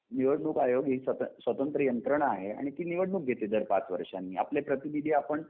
निवडणूक आयोग ही स्वतंत्र यंत्रणा आहे आणि ती निवडणूक घेतली जाते पाच वर्षांनी. आपलें प्रतिनिधी आपण